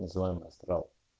называем астрал